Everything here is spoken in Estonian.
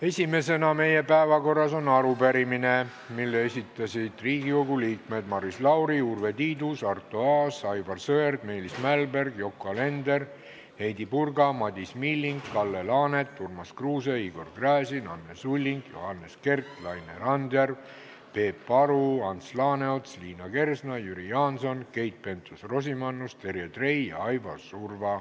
Esimesena on meie päevakorras arupärimine, mille on esitanud Riigikogu liikmed Maris Lauri, Urve Tiidus, Arto Aas, Aivar Sõerd, Meelis Mälberg, Yoko Alender, Heidy Purga, Madis Milling, Kalle Laanet, Urmas Kruuse, Igor Gräzin, Anne Sulling, Johannes Kert, Laine Randjärv, Peep Aru, Ants Laaneots, Liina Kersna, Jüri Jaanson, Keit Pentus-Rosimannus, Terje Trei ja Aivar Surva.